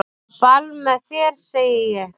Á ball með þér segi ég.